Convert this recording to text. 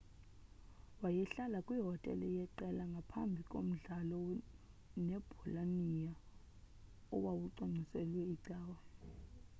wayehlala kwihotele yeqela ngaphambi komdlalo nebolonia owawucwangciselwe icawe